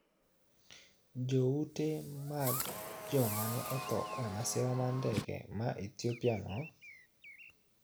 Joute mag jomane otho e masira mar ndege ma Ethiopia no